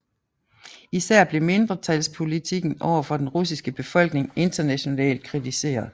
Især blev mindretalspolitikken over for den russiske befolkning internationalt kritiseret